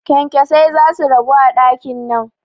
Kyankyasai zasu ragu a ɗakin nan